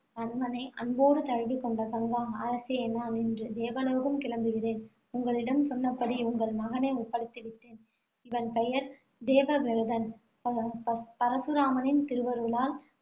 அன்போடு தழுவிக் கொண்ட கங்கா, அரசே நான் இன்று தேவலோகம் கிளம்புகிறேன். உங்களிடம் சொன்னபடி உங்கள் மகனை ஒப்படைத்து விட்டேன். இவன் பெயர் தேவவிரதன். ப~ பச~ பரசுராமரின் திருவருளால்